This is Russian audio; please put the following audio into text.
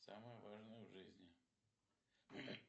самое важное в жизни